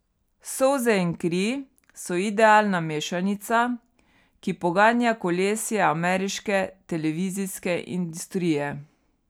Solze in kri so idealna mešanica, ki poganja kolesje ameriške televizijske industrije.